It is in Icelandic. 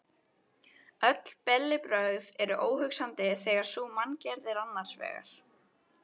Öll bellibrögð eru óhugsandi þegar sú manngerð er annars vegar.